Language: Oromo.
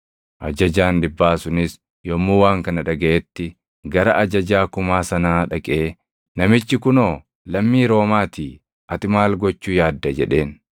Ajajaan dhibbaa sunis yommuu waan kana dhagaʼetti gara ajajaa kumaa sanaa dhaqee, “Namichi kunoo lammii Roomaatii ati maal gochuu yaadda?” jedheen.